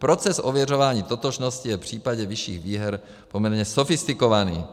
Proces ověřování totožnosti je v případě vyšších výher poměrně sofistikovaný.